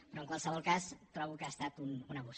però en qualsevol cas trobo que ha estat un abús